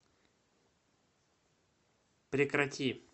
прекрати